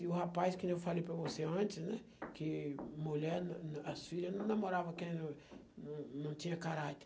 E o rapaz, que nem eu falei para você antes, né, que mulher as filhas não namoravam quem não não não tinha caráter.